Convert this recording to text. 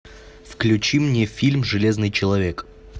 включи мне фильм железный человек